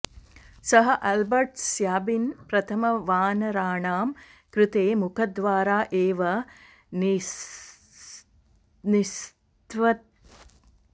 सः Albert Sabin प्रथमं वानराणां कृते मुखद्वारा एव निस्स्त्वविषकणान् अददात्